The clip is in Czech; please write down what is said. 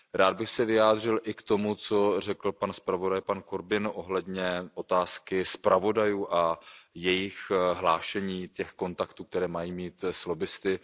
Rád bych se vyjádřil i k tomu, co řekl pan zpravodaj Corbett ohledně otázky zpravodajů a jejich hlášení těch kontaktů, které mají mít s lobbisty.